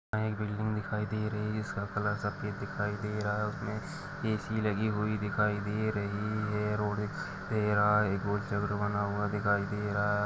यहाँ एक बिल्डिंग दिखाई दे रही है जिसका कलर सफेद दिखाई दे रहा है उसमें एसी लगी हुई दिखाई दे रही है रोड एक एहा रोड से बना हुआ दिखाई दे रहा है।